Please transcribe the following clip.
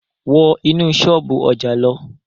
Wọ́ inú ṣọ́ọ̀bú ọjà lọ!